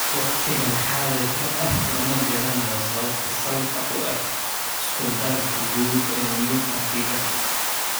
Waqtigan xaadirka ah, lama garanayo sababta salka u ah isku-darka guud ee myopathiga.